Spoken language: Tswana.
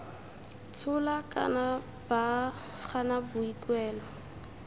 tshola kana ba gana boikuelo